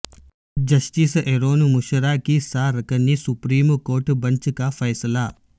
justice Arun Mishra کی سہ رکنی سپریم کورٹ بنچ کا فیصلہ